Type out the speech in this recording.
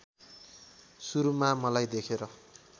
सुरुमा मलाई देखेर